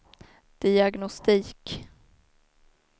diagnostik